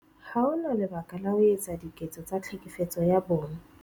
Ha ho na lebaka la ho etsa diketso tsa Tlhekefetso ya Bong